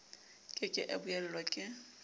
ke ke a buellwa ke